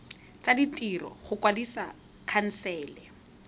tsa ditiro go kwadisa khansele